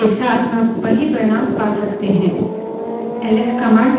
L S command से output WC command के लिए input के रूप में जाता है